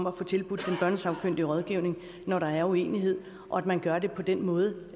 at få tilbudt børnesagkyndig rådgivning når der er uenighed og at man gør det på en måde